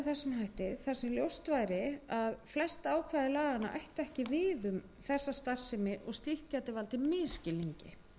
að flest ákvæði laganna ættu ekki við um þessa starfsemi og slíkt gæti valdið misskilningi